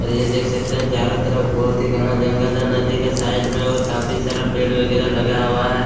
और यह देख सकते है चारों तरफ बहुत ही घना जंगल है नदी का साइड में और काफ़ी सारा पेड़ वगेरा लगा हुआ है।